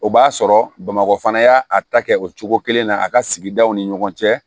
O b'a sɔrɔ bamakɔ fana y'a ta kɛ o cogo kelen na a ka sigidaw ni ɲɔgɔn cɛ